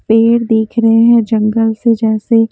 पेड़ दिख रहे हैं जंगल से जैसे--